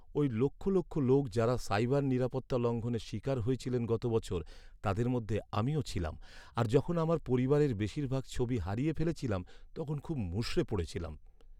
ওই লক্ষ লক্ষ লোক, যাঁরা সাইবার নিরাপত্তা লঙ্ঘনের শিকার হয়েছিলেন গত বছর, তাদের মধ্যে আমিও ছিলাম, আর যখন আমার পরিবারের বেশির ভাগ ছবি হারিয়ে ফেলেছিলাম তখন খুব মুষড়ে পড়েছিলাম।